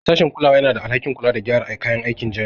Sashin kulawa yana da alhakin kula da gyara kayan aikin jami'a